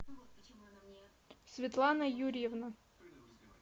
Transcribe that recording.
светлана юрьевна